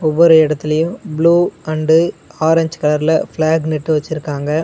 ஒவ்வொரு எடத்துலயு blue and orange கலர்ல ஃபிளேக் நட்டு வெச்சிருக்காங்க.